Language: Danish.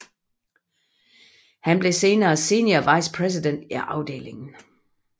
Han blev senere senior vice president i afdelingen